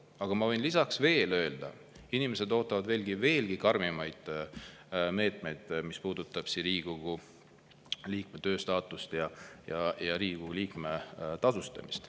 Aga ma võin lisaks veel öelda, inimesed ootavad veelgi karmimaid meetmeid, mis puudutab Riigikogu liikme staatust ja Riigikogu liikme tasustamist.